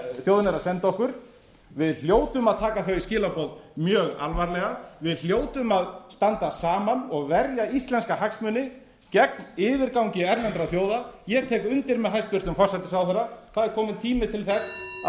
að senda okkur við hljótum að taka þau skilaboð mjög alvarlega við hljótum að standa saman og verja íslenska hagsmuni gegn yfirgangi erlendra þjóða ég tek undir með hæstvirtum forsætisráðherra það er kominn tími til þess að